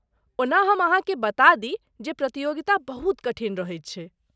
ओना हम अहाँके बता दी जे प्रतियोगिता बहुत कठिन रहैत छै।